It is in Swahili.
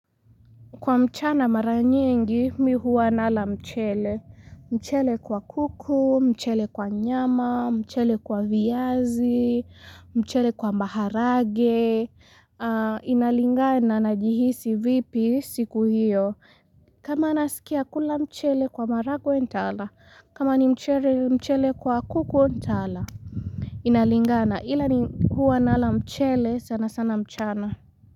Kwa mchana mara nyingi mi hua nala mchele. Mchele kwa kuku, mchele kwa nyama, mchele kwa viazi, mchele kwa maharage. Inalingana najihisi vipi siku hiyo. Kama naskia kula mchele kwa maharagwe ntala. Kama ni mchere mchele kwa kuku ntala. Inalingana ila ni huwa nala mchele sana sana mchana.